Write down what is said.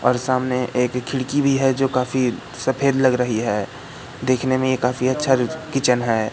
और सामने एक खिड़की भी है जो काफी सफेद लग रही है देखने में काफी अच्छा किचन है।